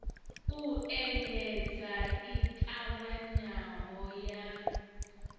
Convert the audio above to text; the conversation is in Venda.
u endedza i ṱavhanyaho ya